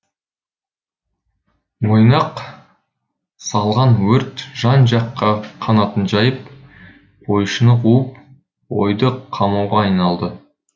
ойнақ салған өрт жан жаққа қанатын жайып қойшыны қуып қойды қамауға айналды